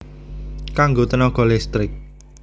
Kanggo tènaga listrik